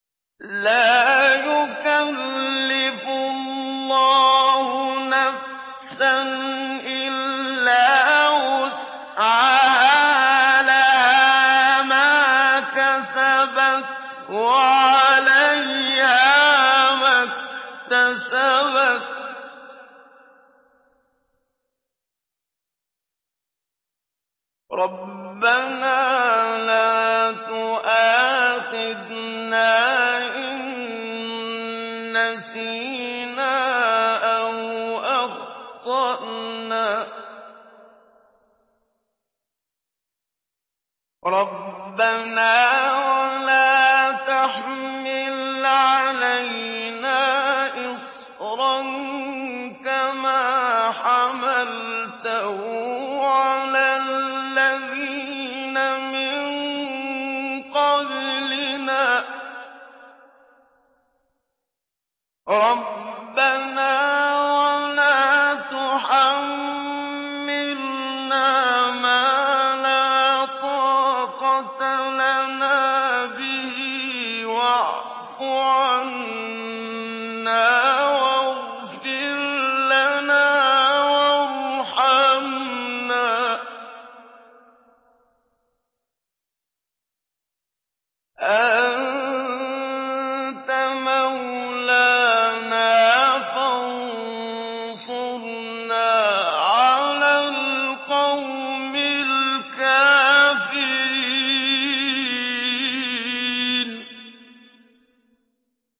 لَا يُكَلِّفُ اللَّهُ نَفْسًا إِلَّا وُسْعَهَا ۚ لَهَا مَا كَسَبَتْ وَعَلَيْهَا مَا اكْتَسَبَتْ ۗ رَبَّنَا لَا تُؤَاخِذْنَا إِن نَّسِينَا أَوْ أَخْطَأْنَا ۚ رَبَّنَا وَلَا تَحْمِلْ عَلَيْنَا إِصْرًا كَمَا حَمَلْتَهُ عَلَى الَّذِينَ مِن قَبْلِنَا ۚ رَبَّنَا وَلَا تُحَمِّلْنَا مَا لَا طَاقَةَ لَنَا بِهِ ۖ وَاعْفُ عَنَّا وَاغْفِرْ لَنَا وَارْحَمْنَا ۚ أَنتَ مَوْلَانَا فَانصُرْنَا عَلَى الْقَوْمِ الْكَافِرِينَ